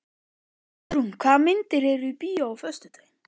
Hugrún, hvaða myndir eru í bíó á föstudaginn?